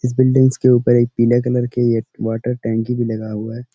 इस बिलडिंगस के ऊपर एक पीले कलर का वाटर टैंकी भी लगा हुआ है।